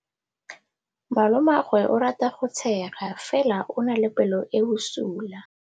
Malomagwe o rata go tshega fela o na le pelo e e bosula.